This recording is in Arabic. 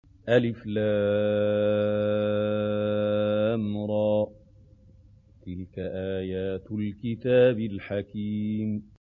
الر ۚ تِلْكَ آيَاتُ الْكِتَابِ الْحَكِيمِ